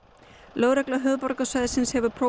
lögregla höfuðborgarsvæðisins hefur